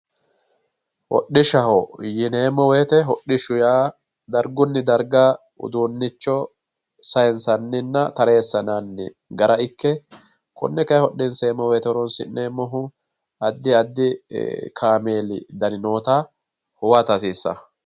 hodhishshaho yineemmo woyte hodhishshu yaa dargunni darga uduunnicho sayiinsanninna tareessinanni gara ikke konne kayi hodhiseemmmo woyte horonsi'neemmohu addi addi kaameeli dani noota huwata hasiissawo.